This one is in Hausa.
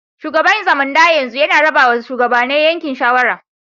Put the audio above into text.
Shugaban Zamunda yanzu yana raba ma shugabane yankin shawara.